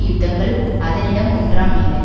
யுத்தங்கள் அதனிடம் ஒன்றாம் இல்லை